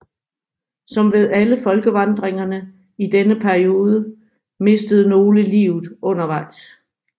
Som ved alle folkevandringerne i denne periode mistede nogle livet undervejs